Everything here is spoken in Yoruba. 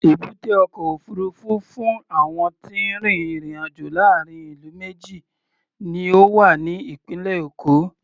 Èbúté ọkọ̀ òfuurufú fún àwọn tí ń rin ìrìn-àjò láàárín ìlú méjì ni ó wà ní ìpínlẹ̀ Èkó.